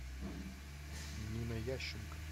нина ященко